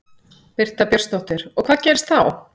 Birta Björnsdóttir: Og hvað gerist þá?